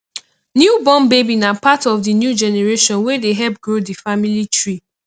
new born baby na part of di new generation wey dey help grow di family tree